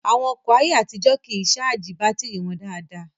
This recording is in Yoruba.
Àwọn ọkọ̀ ayé àtijó kìí ṣáàjì bátìrì wọn dáadáa